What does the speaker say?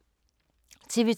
TV 2